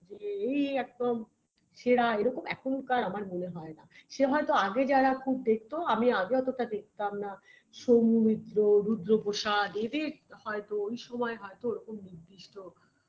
যে এই একদম সেরা এরকম এখনকার আমার মনে হয় না সে হয় তো আগে যারা খুব দেখতো আমি আগে অতটা দেখতাম না সৌমিত্র রুদ্রপ্রসাদ এদের হয়তো ওই সময় হয়তো ওরকম নির্দিষ্ট